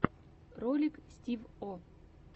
ролик стив о